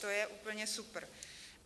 To je úplně super.